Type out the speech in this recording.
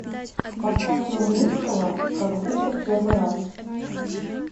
поставь нурминского как будто в первый раз